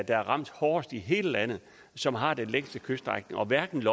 er ramt hårdest i hele landet og som har den længste kyststrækning og hverken